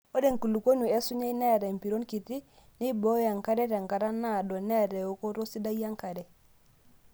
Ore enkulukuoni osunyai neeata empiron kitii, nemeiboyoo enkare tenkata naado, neata eokooto sidai enkare.